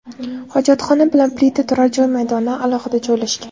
Hojatxona bilan plita turar joy maydonidan alohida joylashgan.